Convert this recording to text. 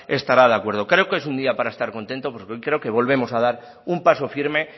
estará de acuerdo creo que es un día para estar contento porque hoy creo que volvemos a dar un paso firme